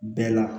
Bɛɛ la